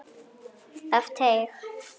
Af teig